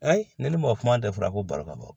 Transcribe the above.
ne ni mɔgɔ kuma da fɔra ko baro ka bɔ